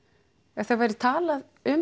ef það væri talað um